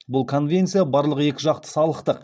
бұл конвенция барлық екіжақты салықтық